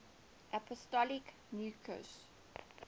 apostolic nuncios